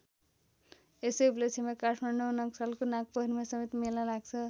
यसै उपलक्ष्यमा काठमाडौँ नक्सालको नागपोखरीमा समेत मेला लाग्छ।